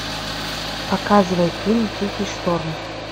показывай фильм тихий шторм